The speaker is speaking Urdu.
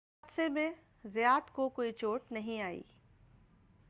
اس حادثہ میں زیات کو کوئی چوٹ نہیں آئی